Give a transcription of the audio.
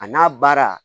A n'a baara